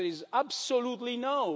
The answer is absolutely no.